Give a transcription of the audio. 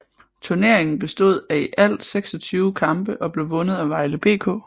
Turneringen bestod af i alt 26 kampe og blev vundet af Vejle BK